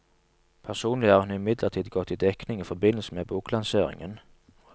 Personlig er hun imidlertid gått i dekning i forbindelse med boklanseringen.